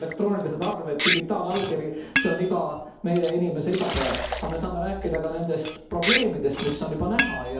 Näiteks elektroonilised arved, digitaalallkiri see on meie inimeste igapäev. Me saame rääkida nendest probleemidest, mis on juba näha.